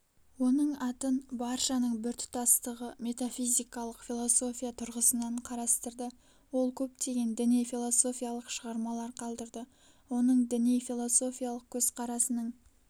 оның атын баршаның біртұтастығы метафизикалық философия тұрғысынан қарастырды ол көптеген діни философиялық шығармалар қалдырды оның діни-философиялык көзқарасының